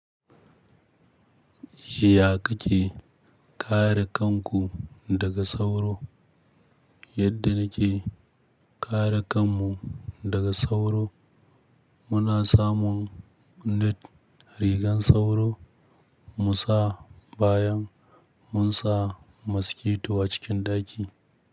Ya ka ke kare kanku daga sauro? Yadda na ke kare kanmu daga sauro, muna samun net rigan sauro mu sa bayan mun sa maskito a cikin ɗaki.